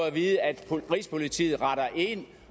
at vide at rigspolitiet retter ind